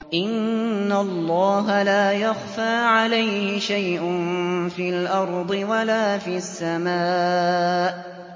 إِنَّ اللَّهَ لَا يَخْفَىٰ عَلَيْهِ شَيْءٌ فِي الْأَرْضِ وَلَا فِي السَّمَاءِ